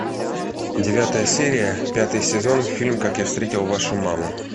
девятая серия пятый сезон фильм как я встретил вашу маму